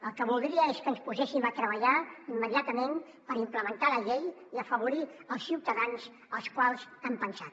el que voldria és que ens poséssim a treballar immediatament per implementar la llei i afavorir els ciutadans en els quals hem pensat